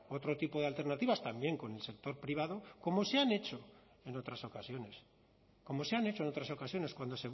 otro tipo de alternativas también con el sector privado como se han hecho en otras ocasiones como se han hecho en otras ocasiones cuando